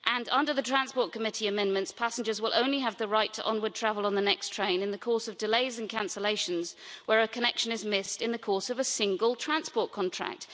Under the TRAN Committee's amendments, passengers will only have the right to onward travel on the next train in the course of delays and cancellations where a connection is missed in the course of a single transport contract.